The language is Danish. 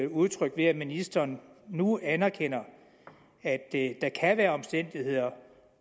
udtrykt ved at ministeren nu anerkender at der kan være omstændigheder